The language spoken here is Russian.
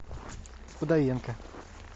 удовенко